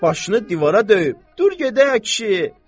Başını divara döyüb, dur gedək, kişi.